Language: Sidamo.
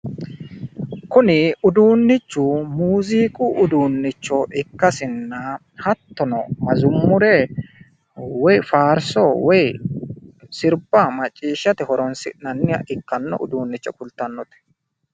Kuni uduunnichu muuziiqu uduunnicho ikkasinna hattono mazummure woyi faarsso woyi sirba macciishshate horonsi'nanniha ikkanno uduunnicho kultannote.